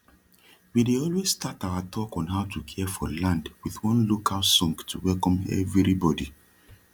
we dey always start our talk on how to care for land with one local song to welcome everi bodi